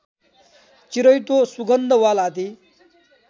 चिराइतो सुगन्धवाल आदि